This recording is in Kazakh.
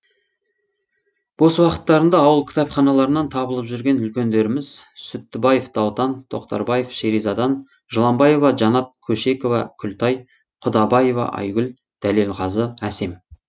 бос уақыттарында ауыл кітапханаларынан табылып жүрген үлкендеріміз сүттібаев даутан тоқтарбаев шеризадан жыланбаева жанат көшекова күлтай құдабаева айгүл дәлелғазы әсем